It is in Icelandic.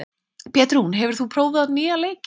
Petrún, hefur þú prófað nýja leikinn?